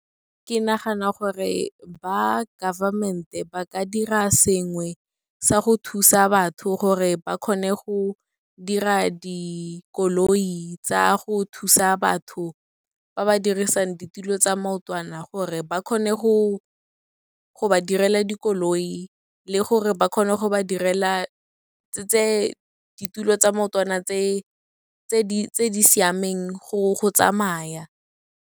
Ke nagana gore ba government-e ba ka dira sengwe sa go thusa batho gore ba kgone go dira dikoloi tsa go thusa batho ba ba dirisang ditulo tsa maotwana, gore ba kgone go ba direla dikoloi le gore ba kgone go ba direla ditulo tsa maotwana tse di siameng go tsamaya.